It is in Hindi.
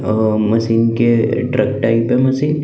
आ आ मशीन के पे मशीन --